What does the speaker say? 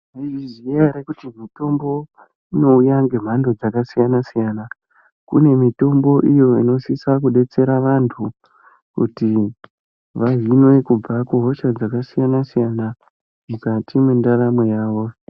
Maizviziya here kuti mitombo inouya nemhando dzakasiyana siyana . Kune mutombo inosisa kudetsera vantu kuti vahinwe kubva kuhosha dzakasiyana-siyana mukati mwendaramo yavo.